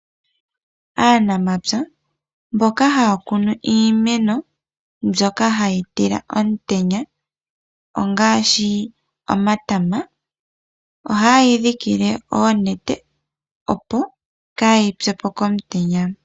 Aanamapya mboka haya kunu iimeno mbyoka hayi tila omutenya ngaashi omatama ,oha yeyi dhikile oonete opo kayi pyepo komutenya.